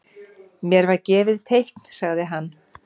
Mér var gefið teikn sagði hann.